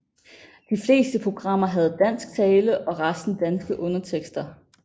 De fleste programmer havde dansk tale og resten danske undertekster